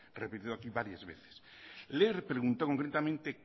repetido aquí varias veces le he preguntado concretamente